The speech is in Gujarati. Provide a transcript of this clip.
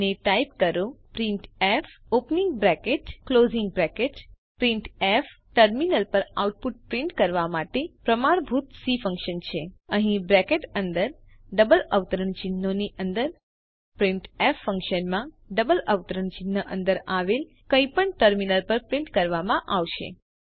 અને ટાઇપ કરો printf opening bracket closing bracket printf terminal પર આઉટપુટ પ્રિન્ટ કરવા માટે પ્રમાણભૂત સી ફન્કશન છે અહીં બ્રેકેટ અંદર ડબલ અવતરણચિહ્નો ની અંદર પ્રિન્ટફ ફન્કશનમાં ડબલ અવતરણ ચિહ્ન અંદર આવેલ કંઈપણ ટર્મિનલ પર પ્રિન્ટ કરવામાં આવશે